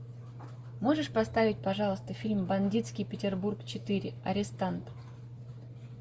можешь поставить пожалуйста фильм бандитский петербург четыре арестант